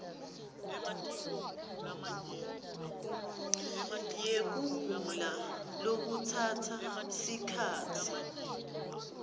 yekugula lokutsatsa sikhatsi